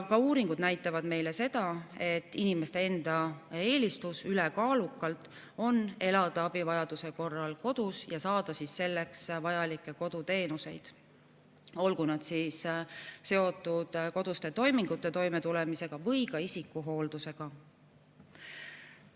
Ka uuringud näitavad meile seda, et inimeste enda ülekaalukas eelistus on elada abivajaduse korral kodus ja saada vajalikke koduteenuseid, olgu need seotud koduste toimingutega toimetulemise või ka isikuhooldusega.